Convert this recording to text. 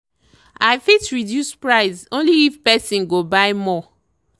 i fit reduce price only if person go buy more.